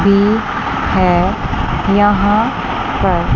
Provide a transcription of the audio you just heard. ईंट है यहां पर।